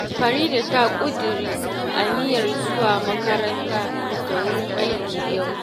Farida ta ƙudiri aniyar zuwa makaranta da wurin aiki yau